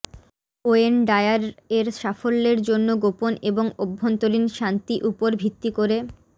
when Dyer এর সাফল্যের জন্য গোপন এবং অভ্যন্তরীণ শান্তি উপর ভিত্তি করে